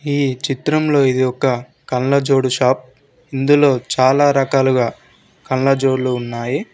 ఈ చిత్రంలో ఇది ఒక కళ్ళజోడు షాప్ ఇందులో చాలా రకాలుగా కళ్ళజోడ్లు ఉన్నాయి.